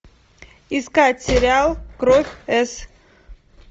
искать сериал кровь с